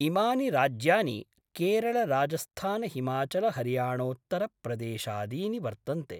इमानि राज्यानि केरलराजस्थानहिमाचलहरियाणोत्तरप्रदेशादीनि वर्तन्ते।